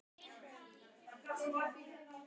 Soffanías, slökktu á niðurteljaranum.